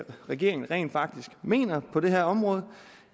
regeringen rent faktisk mener på det her område